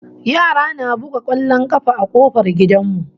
Yara na buga kwallon kafa a kofar gidan mu